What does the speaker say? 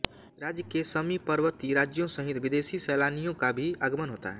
राज्य के समीपवर्ती राज्यों सहित विदेशी सैलानियों का भी आगमन होता है